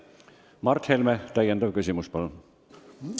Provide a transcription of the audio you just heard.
Mart Helme, täiendav küsimus, palun!